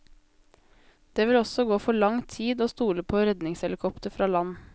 Det vil også gå for lang tid å stole på redningshelikopter fra land.